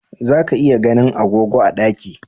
Za ka iya ganin agogo a ɗaki